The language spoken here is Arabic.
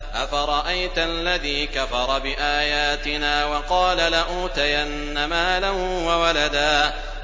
أَفَرَأَيْتَ الَّذِي كَفَرَ بِآيَاتِنَا وَقَالَ لَأُوتَيَنَّ مَالًا وَوَلَدًا